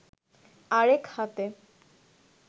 আরেক হাতে